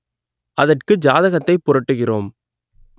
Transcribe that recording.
அதற்கு ஜாதகத்தை புரட்டுகிறோம்